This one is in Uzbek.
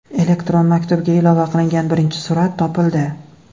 Elektron maktubga ilova qilingan birinchi surat topildi.